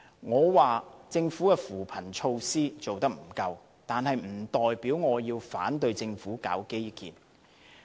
我批評政府的扶貧措施做得不足，但並不代表我反對政府進行基建。